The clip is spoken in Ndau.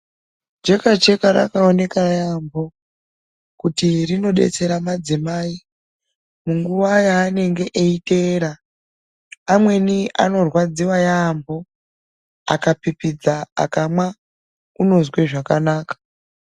Jekacheka rakaoneka yaambo kuti rinodetsera madzimai munguva yaanenge eyiteera, amweni anorwadziwa yaambo akapipidza akamwa, unozwe zvakanaka.